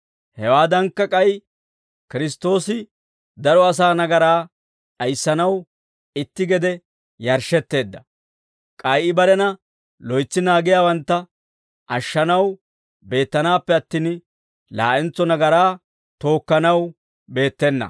Hewaadankka, k'ay Kiristtoosi daro asaa nagaraa d'ayissanaw itti gede yarshshetteedda; k'ay I barena loytsi naagiyaawantta ashshanaw beettanaappe attin, laa'entso nagaraa tookkanaw beettena.